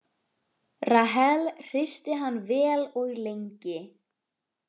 Rahel hristi hann vel og lengi.